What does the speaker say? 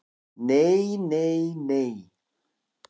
"""Nei, nei, nei!"""